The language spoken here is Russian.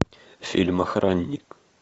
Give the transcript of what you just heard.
фильм охранник